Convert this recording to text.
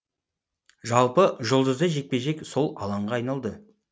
жалпы жұлдызды жекпе жек сол алаңға айналды